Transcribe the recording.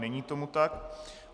Není tomu tak.